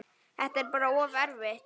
Þetta er bara of erfitt.